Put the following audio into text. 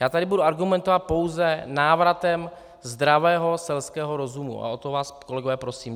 Já tady budu argumentovat pouze návratem zdravého selského rozumu, a o to vás, kolegové, prosím.